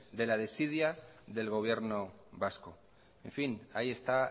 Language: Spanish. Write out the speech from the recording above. de la desidia del gobierno vasco ahí está